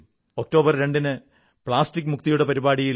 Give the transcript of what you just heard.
October രണ്ടിന് plastic മുക്തിയുടെ പരിപാടിയിൽ